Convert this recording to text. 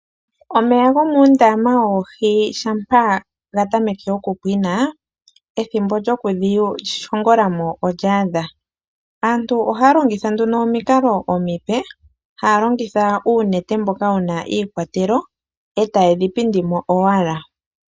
Omeya gomuundama woohi shampaa gatameke okupwina ethimbo lyoku dhishongolamo olyaadha , aantu ohaa longitha nduno omikalo omipe haa longitha uunete mboka wuna iikwatelo etaye dhipindimo owala.